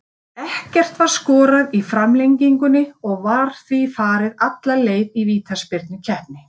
Ekkert var skorað í framlengingunni og var því farið alla leið í vítaspyrnukeppni.